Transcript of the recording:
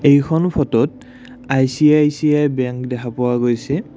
এইখন ফটোত ICICI bank দেখা পোৱা গৈছে।